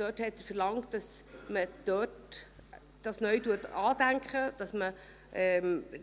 Er hat verlangt, dass man neu andenkt,